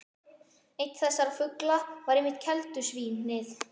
Einn þessara fugla var einmitt keldusvín- ið.